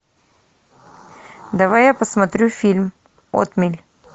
давай я посмотрю фильм отмель